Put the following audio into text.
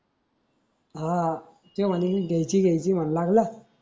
हाआ तो म्हणे घ्यायची घ्यायची म्हणू लागला.